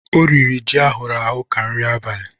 O riri ji ahụrụ ahụ ka nri abalị.